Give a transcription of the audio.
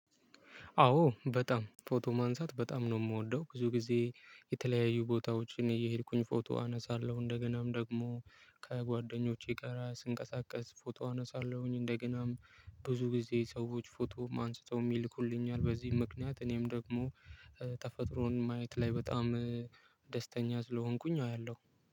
አዎ በጣም ፎቶ ማንሳት በጣም ነው የምወደው ብዙ ጊዜ የተለያዩ ቦታዎችን እየሄድኩኝ ፎቶ አነሳለሁ እንደገናም ደግሞ ከጓደኞቼ ጋራ ስንቀሳቀስ ፎቶ አነሳለሁኝ። እንደገናም ብዙ ጊዜ ሰዎች ፎቶም አንስተውም ይልኩልኛል። በዚህ ምክንያት እኔም ደግሞ ተፈጥሮን ማየት ላይ በጣም ደስተኛ ስለሆንኩኝ አያለሁ።